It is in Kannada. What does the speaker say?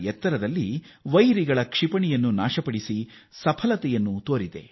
ಎತ್ತರದಲ್ಲಿ ಶತ್ರುಪಡೆಯ ಕ್ಷಿಪಣಿಯನ್ನು ದ್ವಂಸ ಮಾಡಬಲ್ಲುದಾಗಿದ್ದು ಆ ಯಶಸ್ಸು ಸಾಧಿಸಿದೆ